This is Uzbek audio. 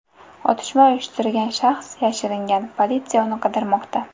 Otishma uyushtirgan shaxs yashiringan, politsiya uni qidirmoqda.